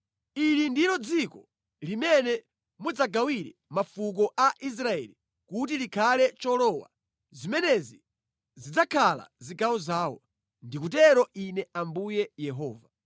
“Ili ndilo dziko limene mudzagawire mafuko a Israeli kuti likhale cholowa. Zimenezi zidzakhala zigawo zawo, ndikutero Ine Ambuye Yehova.